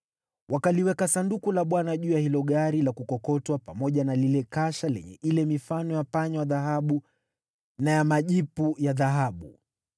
Wakaliweka Sanduku la Bwana juu ya hilo gari la kukokotwa pamoja na lile kasha lenye ile mifano ya panya wa dhahabu na ya majipu ya dhahabu.